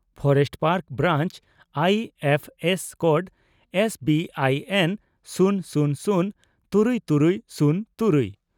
forest park branch I F S code S B I N ᱥᱩᱱ ᱥᱩᱱ ᱥᱩᱱ ᱛᱨᱩᱭ ᱛᱩᱨᱩᱭ ᱥᱩᱱ ᱛᱩᱨᱩᱭ